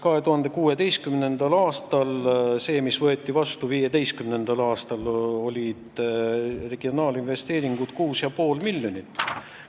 2016. aastal – otsus võeti vastu 2015. aastal – olid regionaalinvesteeringud 6,5 miljonit.